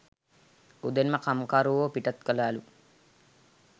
උදෙන්ම කම්කරුවෝ පිටත් කලාලු.